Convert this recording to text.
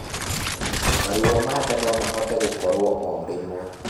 Maruo ma ndaa nomahote gũkorwo o rimwe